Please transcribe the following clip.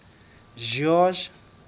george